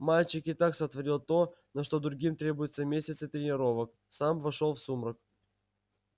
мальчик и так сотворил то на что другим требуются месяцы тренировок сам вошёл в сумрак